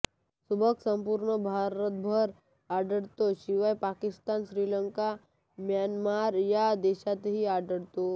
सुभग संपूर्ण भारतभर आढळतो शिवाय पाकिस्तान श्रीलंका म्यानमार या देशातही आढळतो